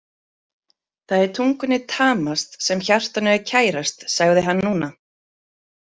Það er tungunni tamast sem hjartanu er kærast, sagði hann núna.